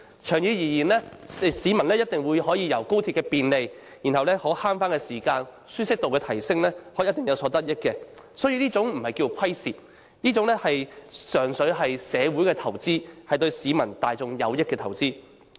長遠而言，市民一定可從高鐵的便利、可節省的時間及舒適度的提升中有所得益，因此這不能說是虧蝕，純粹是社會的投資，是對市民大眾有利的投資。